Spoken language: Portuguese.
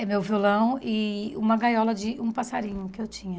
É meu violão e uma gaiola de um passarinho que eu tinha.